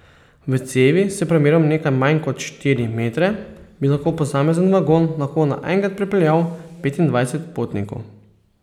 V cevi s premerom nekaj manj kot štiri metre, bi lahko posamezen vagon lahko naenkrat prepeljal petindvajset potnikov.